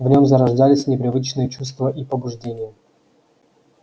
в нём зарождались непривычные чувства и побуждения